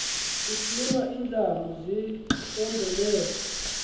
kusina indlam zisombelelwa